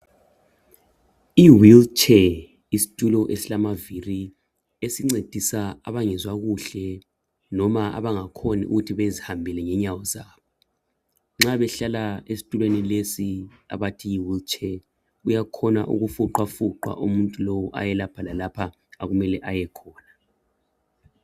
I wheelchair yistulo esilamavili esincedisa abangezwa kuhle emzimbeni noma abangakhoni ukuthi bezihambele ngezinyawo zabo. Nxa behlala esitulweni lesi abathi Yi wheelchair uyakhona ukufuqwa umuntu lowu aye lapho lalaphaya okumele aye khona.